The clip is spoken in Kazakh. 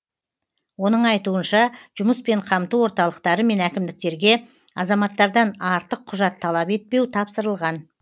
оның айтуынша жұмыспен қамту орталықтары мен әкімдіктерге азаматтардан артық құжат талап етпеу тапсырылған